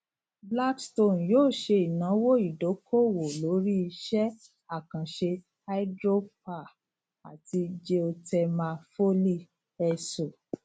blackstone yoo se inawo idokowo lori ise akanse hydropoer ati geothermal foley so